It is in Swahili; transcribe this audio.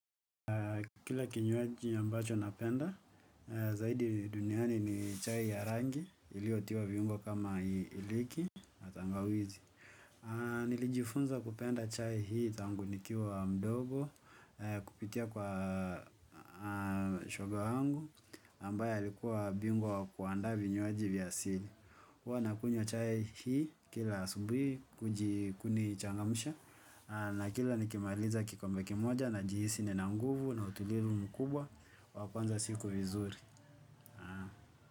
Kila kinywaji ambacho napenda, zaidi duniani ni chai ya rangi, iliyotiwa viungo kama iliki na tangawizi. Nilijifunza kupenda chai hii tangu nikiwa mdogo kupitia kwa shoga wangu ambaye alikuwa bingwa wa kuandaa vinywaji vya asili. Huwa nakunywa chai hii kila asubuhi kunichangamsha na kila nikimaliza kikombe kimoja najihisi nina nguvu na utulivu mkubwa wa kuanza siku vizuri.